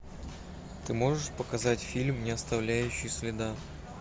ты можешь показать фильм не оставляющий следа